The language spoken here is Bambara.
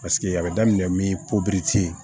Paseke a bɛ daminɛ min